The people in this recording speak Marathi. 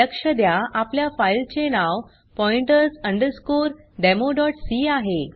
लक्ष द्या आपल्या फाइल चे नाव pointers democ आहे